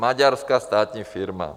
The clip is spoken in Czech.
Maďarská státní firma.